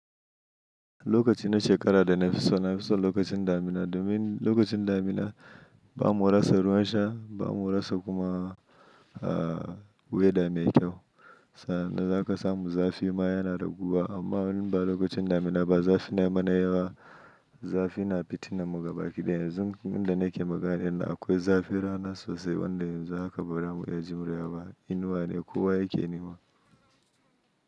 Lokaci na shekara da na fi so, na fi son lokacin damina domin lokacin damina ba mu rasa ruwan sha, ba mu rasa kuma weather mai kyau. Za ka samu zafi ma yana raguwa amma in ba lokacin damina ba zafi na yi mana yawa, zafi na fitina mu gabakiɗaya. Yanzu inda nake magana ɗin nan akwai zafin rana sosai wanda yanzu haka bara mu iya jurewa ba inuwa ne kowa yake nema.